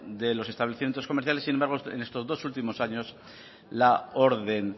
de los establecimientos comerciales sin embargo en estos dos últimos años la orden